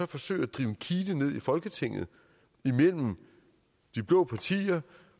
forsøge at drive en kile ned i folketinget imellem de blå partier